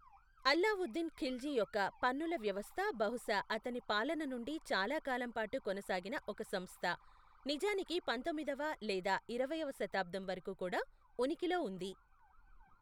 అల్లావుద్దీన్ ఖిల్ల్జీ యొక్క పన్నుల వ్యవస్థ బహుశా అతని పాలన నుండి చాలా కాలం పాటు కొనసాగిన ఒక సంస్థ, నిజానికి పందొమ్మిదవ లేదా ఇరవయ్యవ శతాబ్దం వరకు కూడా ఉనికిలో ఉంది.